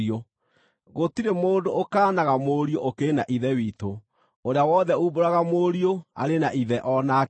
Gũtirĩ mũndũ ũkaanaga Mũriũ ũkĩrĩ na Ithe witũ; ũrĩa wothe uumbũraga Mũriũ arĩ na Ithe o nake.